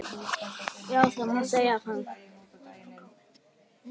Já það má segja það.